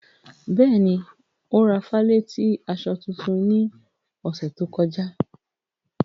Bẹ́ẹ̀ni, o ra falẹ̀tí aṣọ tuntun ní òṣè tó kọ̀já.